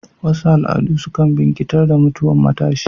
Wasu al'adu sukan bikintar da mutwan matshi